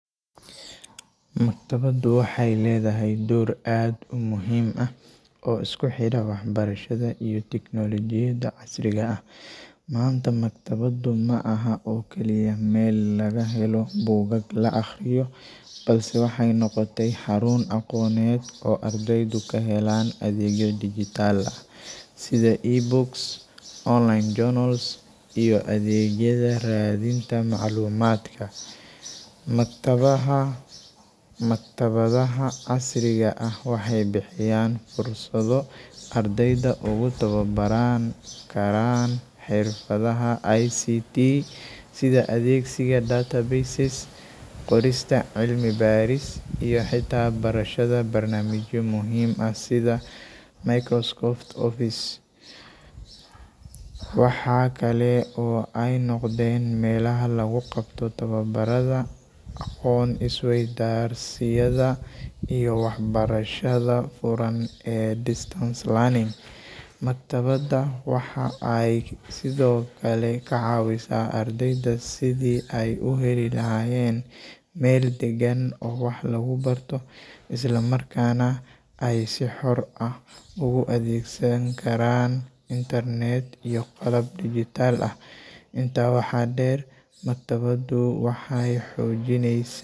Maktabaddu waxay ledhahay door aad u muhim ah oo iskuxera wax barashadha iyo teknologiyada casriga ah. Manta maktabaddu maaha oo Kali Mel lagahelo bukak la aqriyo balse waxay noqota xarun aqoned oo ardayda kahelan adeegya digital ah sidha e books, online journals iyo adeegyada radhinta maclumadka. Maktabadhaha casriga ah waxay bixiyan fursadho ardayda ugu tawabaran karan xirfadhaha ay ict sidha adeegsiga data bases qorista cilmi baris iyo hita barashadha barnamijya muhim ah sidha microscope office. waxa Kale oo ay noqden melaha laguqabto tawabaradha aqoon is garsiyada iyo wax barashada furan ee distance learning maktabada waxa ay sidhokale kacawisa ardayda sidhi ay u heli lahayen Mel dagan oo wax lagubarto. isla markana ay si xoor ah ugu adegsan Karan internet iyo qalab digital ah. Inta waxa deer maktabaddu waxay xojineysi